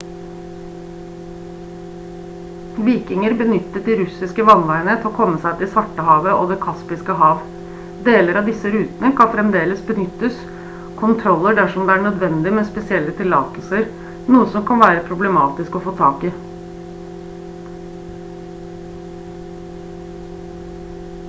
vikinger benyttet de russiske vannveiene til å komme seg til svartehavet og det kaspiske hav deler av disse rutene kan fremdeles benyttes kontroller dersom det er nødvendig med spesielle tillatelser noe som kan være problematisk å få tak i